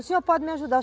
O senhor pode me ajudar.